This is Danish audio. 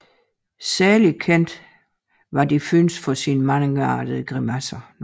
Særligt kendt var de Funès for sine mangeartede grimasser